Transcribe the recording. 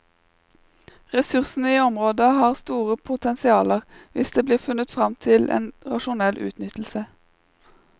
Ressursene i området har store potensialer, hvis det blir funnet fram til en rasjonell utnyttelse.